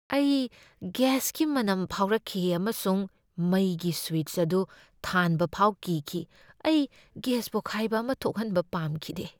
ꯑꯩ ꯒꯦꯁꯀꯤ ꯃꯅꯝ ꯐꯥꯎꯔꯛꯈꯤ ꯑꯃꯁꯨꯡ ꯃꯩꯒꯤ ꯁ꯭ꯋꯤꯆ ꯑꯗꯨ ꯊꯥꯟꯕ ꯐꯥꯎ ꯀꯤꯈꯤ ꯫ ꯑꯩ ꯒꯦꯁ ꯄꯣꯈꯥꯏꯕ ꯑꯃ ꯊꯣꯛꯍꯟꯕ ꯄꯥꯝꯈꯤꯗꯦ ꯫